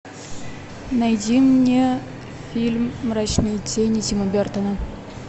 найди мне фильм мрачные тени тима бертона